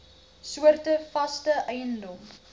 soorte vaste eiendom